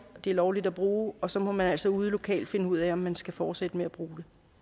det er lovligt at bruge og så må man altså ude lokalt finde ud af om man skal fortsætte med at bruge